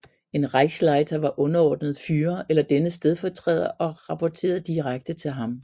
En Reichsleiter var underordnet Führer eller dennes stedfortræder rapporterede direkte til ham